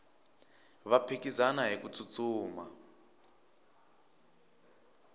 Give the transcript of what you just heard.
va phikizana hiku tsutsuma